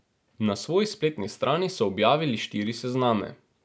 Na svoji spletni strani so objavili štiri sezname.